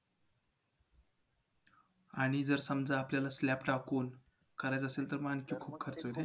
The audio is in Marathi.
आणि जर समजा आपल्याला slab टाकून, करायचं असेल तर मग